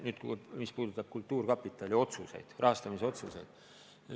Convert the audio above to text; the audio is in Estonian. See puudutab kultuurkapitali rahastamisotsuseid.